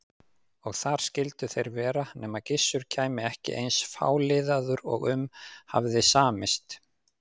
Og þar skyldu þeir vera nema Gissur kæmi ekki eins fáliðaður og um hafði samist.